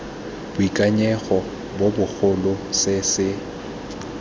boikanyego jo bogolo se se